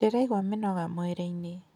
Ndĩraigua mĩnoga mwĩrĩ-inĩ.